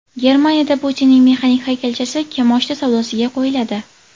Germaniyada Putinning mexanik haykalchasi kimoshdi savdosiga qo‘yiladi .